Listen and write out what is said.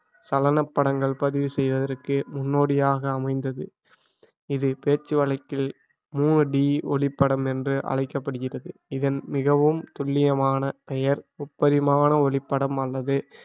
சலன படங்கள் பதிவு செய்வதற்கு முன்னோடியாக அமைந்தது இது பேச்சு வழக்கில் மூவடி ஒளிப்படம் என்று அழைக்கப்படுகிறது இதன் மிகவும் துல்லியமான பெயர் முப்பரிமான ஒளிப்படம் அல்லது